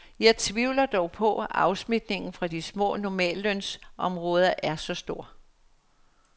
Jeg tvivler dog på, at afsmitningen fra de små normallønsområder er så stor.